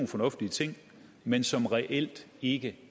fornuftige ting men som reelt ikke